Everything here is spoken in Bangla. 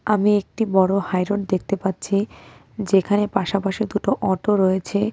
আমি একটি বড় হাই রোড দেখতে পাচ্ছি যেখানে পাশাপাশি দুটো অটো রয়েছে।